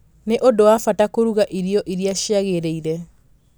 nĩ ũndũ wa bata kũruga irio iria ciagĩrĩire